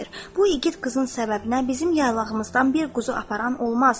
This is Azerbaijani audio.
Bu igid qızın səbəbinə bizim yaylağımızdan bir quzu aparan olmaz.